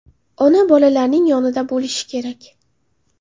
Ona bolalarining yonida bo‘lishi kerak!